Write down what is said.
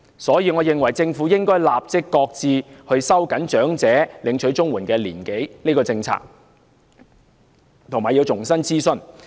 因此，我認為政府應該立即擱置收緊領取長者綜援年齡的政策，並要重新諮詢。